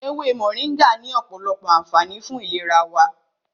Ewé Mọ̀ríngà ní ọ̀pọ̀lọpọ̀ ànfààní fún ìlera wa.